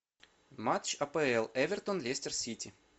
матч апл эвертон лестер сити